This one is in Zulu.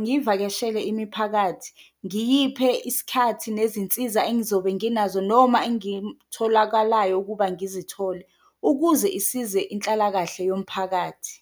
ngivakashele imithi phakathi, ngiyiphe isikhathi nezinsiza engizobe nginazo noma engimtholakalayo ukuba ngizithole, ukuze isize inhlalakahle yomphakathi.